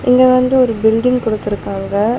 இங்க வந்து ஒரு பில்டிங் குடுத்துருக்காங்க.